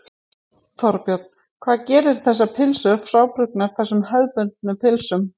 Þorbjörn: Hvað gerir þessar pylsur frábrugðnar þessum hefðbundnu pylsum?